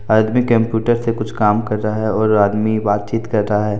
आदमी कंप्यूटर से कुछ काम कर रहा है और आदमी बातचीत कर रहा है।